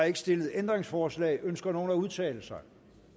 ikke stillet ændringsforslag ønsker nogen at udtale sig